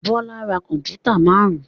Bọ́lá ra kọ̀m̀pútà márùn-ún.